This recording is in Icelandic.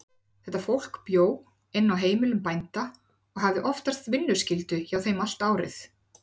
Þetta fólk bjó inni á heimilum bænda og hafði oftast vinnuskyldu hjá þeim allt árið.